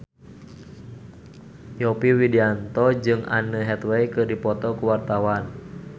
Yovie Widianto jeung Anne Hathaway keur dipoto ku wartawan